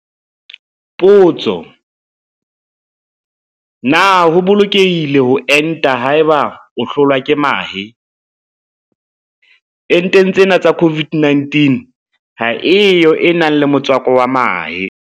Potso. Na ho bolokehile ho enta haeba o hlolwa ke mahe? Enteng tsena tsa COVID-19 ha e yo e nang le motswako wa mahe.